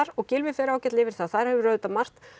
og Gylfi fer ágætlega yfir það þar hefur margt